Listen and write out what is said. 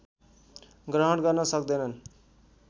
ग्रहण गर्न सक्दैनन्